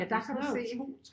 Ja der kan du se